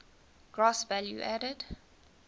gross value added